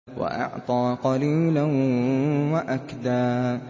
وَأَعْطَىٰ قَلِيلًا وَأَكْدَىٰ